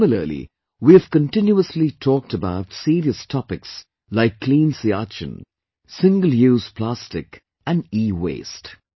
Similarly, we have continuously talked about serious topics like clean Siachen, single use plastic and ewaste